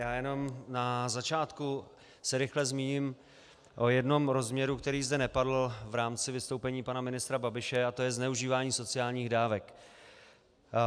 Já jenom na začátku se rychle zmíním o jednom rozměru, který zde nepadl v rámci vystoupení pana ministra Babiše, a to je zneužívání sociálních dávek.